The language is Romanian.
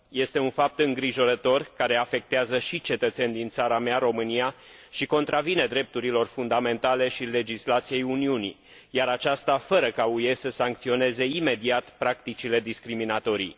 Este un fapt îngrijorător, care afectează și cetățeni din țara mea, România, și contravine drepturilor fundamentale și legislației Uniunii, iar aceasta fără ca UE să sancționeze imediat practicile discriminatorii.